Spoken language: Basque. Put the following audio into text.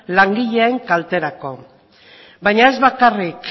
langileen kalterako baina ez bakarrik